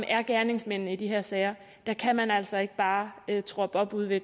er gerningsmændene i de her sager kan man altså ikke bare troppe op ude ved